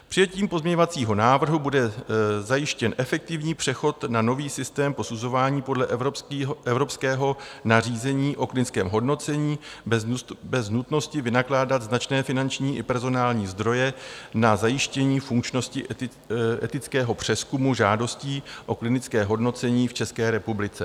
Přijetím pozměňovacího návrhu bude zajištěn efektivní přechod na nový systém posuzování podle evropského nařízení o klinickém hodnocení bez nutnosti vynakládat značné finanční i personální zdroje na zajištění funkčnosti etického přezkumu žádostí o klinické hodnocení v České republice.